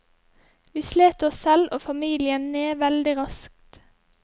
Vi slet oss selv og familien ned veldig raskt.